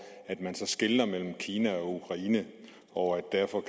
at man skelner mellem kina og ukraine og at det derfor